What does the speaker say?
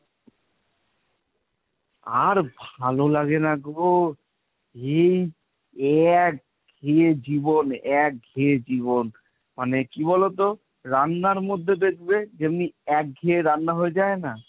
আর ভালো লাগে না গো এই একঘেয়ে জীবন একঘেয়ে জীবন, মানে কি বলতো? রান্নার মধ্যে দেখবে যেমনি একঘেয়ে রান্না হয়ে যায় না